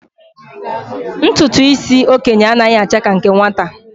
Ntụtụ isi okenye a naghị acha ka nke nwata.